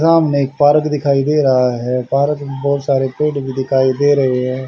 सामने एक पार्क दिखाई दे रहा है पार्क में बहुत सारे पेड़ भी दिखाई दे रहे है।